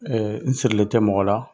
n sirilen tɛ mɔgɔ la.